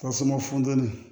Tasuma funtɛni